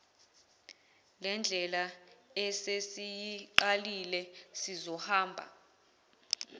lendlela esesiyiqalile sizohamba